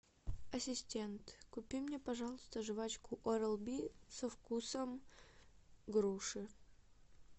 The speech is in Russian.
ассистент купи мне пожалуйста жвачку орал би со вкусом груши